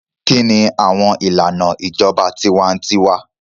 Kini awọn ilana ijọba tiwantiwa?